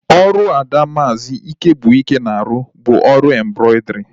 Ọrụ ada maazi Igwebuike na-arụ bụ ọrụ embrọidrii